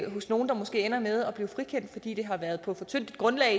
nogle der måske ender med at blive frikendt fordi det har været på for tyndt et grundlag